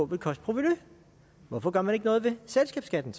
vil koste provenu hvorfor gør man så ikke noget ved selskabsskatten